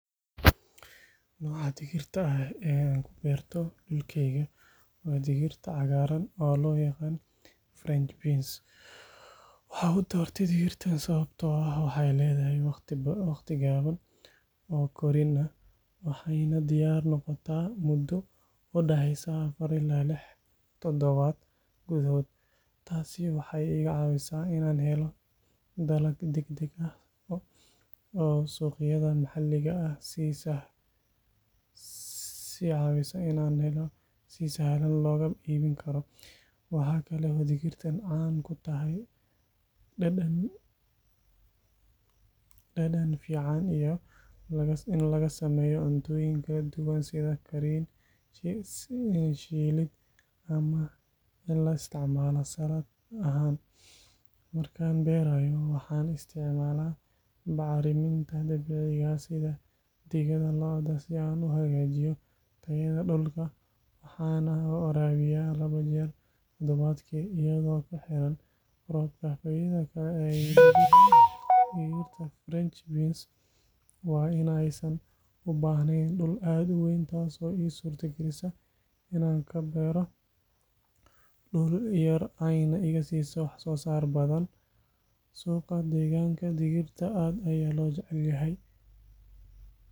Nooca digirta ah ee aan ku beerto dhulkayga waa digirta cagaaran oo loo yaqaan French beans. Waxaan u doortay digirtan sababtoo ah waxay leedahay waqti gaaban oo korriin ah, waxayna diyaar noqotaa muddo u dhaxaysa afar ilaa lix toddobaad gudahood. Taasi waxay iga caawisaa inaan helo dalag degdeg ah oo suuqyada maxalliga ah si sahlan looga iibin karo. Waxaa kale oo digirtan caan ku tahay dhadhan fiican iyo in laga sameeyo cuntooyin kala duwan sida kariin, shiilid ama in la isticmaalo saladh ahaan. Markaan beerayo, waxaan isticmaalaa bacriminta dabiiciga ah sida digada lo’da si aan u hagaajiyo tayada dhulka, waxaana waraabiyaa laba jeer toddobaadkii, iyadoo ku xiran roobka. Faa’iidada kale ee digirta French beans waa in aysan u baahnayn dhul aad u weyn, taas oo ii suurta galisa inaan ka beerto dhul yar ayna iga siiso wax-soosaar badan. Suuqa deegaanka, digirtan aad ayaa loo jecel yahay,